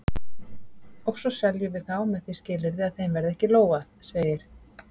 Og svo seljum við þá með því skilyrði að þeim verði ekki lógað, segir